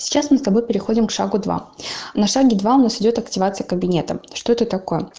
сейчас мы с тобой переходим к шагу два на шаге два у нас идёт активация кабинета что это такое